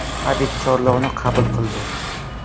Habib chorlovni qabul qildi.